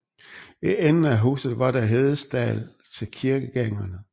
I enden af huset var der hestestald til kirkegængerne